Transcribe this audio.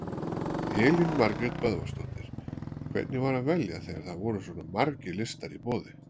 Elín Margrét Böðvarsdóttir: Hvernig var að velja þegar það voru svona margir listar í boði?